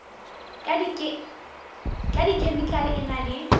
ka dikhemikhale e na le